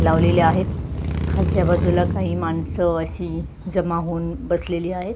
लावलेले आहेत खालच्या बाजूला माणसं अशी जमा होऊन बसलेली आहेत.